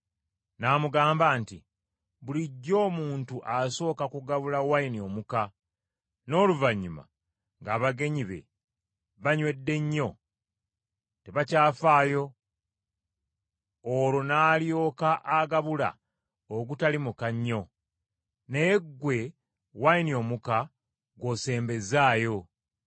n’amugamba nti, “Bulijjo omuntu asooka kugabula wayini omuka, n’oluvannyuma ng’abagenyi be banywedde nnyo, tebakyafaayo olwo n’alyoka agabula ogutali muka nnyo. Naye ggwe wayini omuka gw’osembezzaayo!”